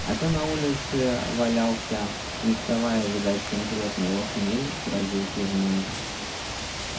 а тот на улице валялся не вставая видать конкретно его хмель сразил пивной